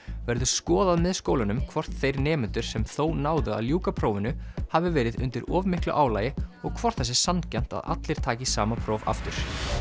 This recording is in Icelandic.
verður skoðað með skólunum hvort þeir nemendur sem þó náðu að ljúka prófinu hafi verið undir of miklu álagi og hvort það sé sanngjarnt að allir taki sama próf aftur